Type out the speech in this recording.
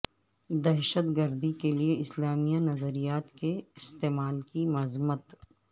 دہشت گردی کے لیے اسلامی نظریات کے استعمال کی مذمت